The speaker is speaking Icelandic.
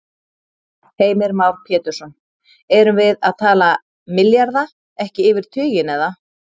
Heimir Már Pétursson: Erum við að tala milljarða, ekki yfir tuginn, eða?